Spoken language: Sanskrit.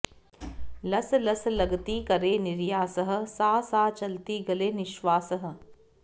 लस् लस् लगति करे निर्यासः साँ साँ चलति गले निश्वासः